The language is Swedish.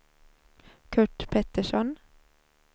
Kurt Pettersson